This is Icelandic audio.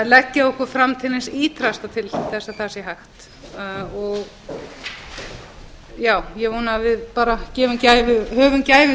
leggja okkur fram til hins ýtrasta til þess að það sé hægt ég vona að við berum gæfu til þess